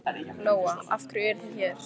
Lóa: Af hverju eruð þið hér?